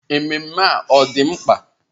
Ememme a ọ̀ dị mkpa?